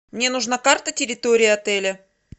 мне нужна карта территории отеля